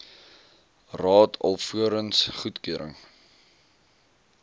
raad alvorens goedkeuring